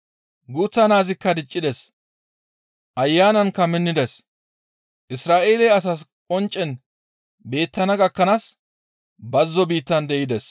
Guuththa naazikka diccides; Ayanankka minnides; Isra7eele asaas qonccen beettana gakkanaas bazzo biittan de7ides.